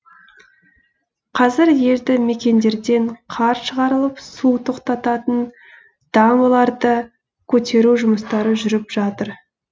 қазір елді мекендерден қар шығарылып су тоқтататын дамбаларды көтеру жұмыстары жүріп жатыр